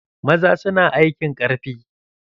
Maza su na aikin ƙarfi.